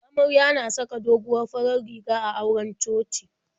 Amarya na saka doguwar farar riga a auren coci.